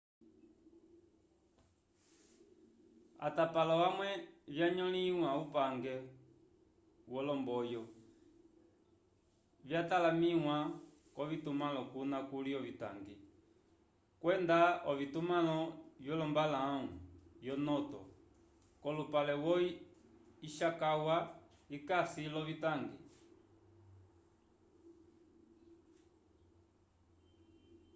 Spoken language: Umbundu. atapalo amwe vyanyõliwa upange wolomboyo vyatalamĩwa k'ovitumãlo kuna kuli ovitangi kwenda ovitumãlo vyolombalãwu yo noto k'olupale wo ishikawa ikasi l'ovitangi